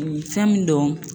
Fɛn min don